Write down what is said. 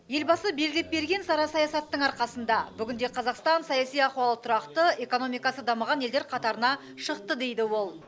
елбасы белгілеп берген сара саясатының арқасында бүгінде қазақстан саяси ахуалы тұрақты экономикасы дамыған елдер қатарына шықты дейді ол